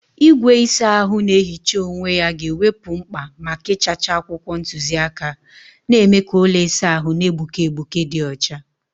Igwe ịsa ahụ na-ehicha onwe ya ga-ewepụ mkpa maka ịchacha akwụkwọ ntuziaka, na-eme ka ụlọ ịsa ahụ na-egbuke egbuke dị ọcha.